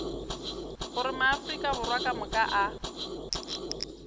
gore maafrika borwa kamoka a